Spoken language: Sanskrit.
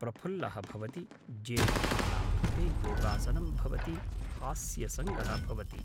प्रफुल्लः भवति ज्येष्ठानां कृते योगासनं भवति हास्यसङ्गः भवति